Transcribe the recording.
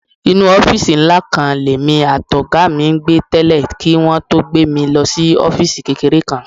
Inú ọ́fíìsì ńlá kan lèmi àtọ̀gá mi ń gbé tẹ́lẹ̀ kí wọn tó gbé mi lọ sí ọ́fíìsì kékeré kan.